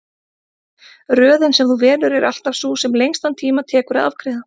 Röðin sem þú velur er alltaf sú sem lengstan tíma tekur að afgreiða.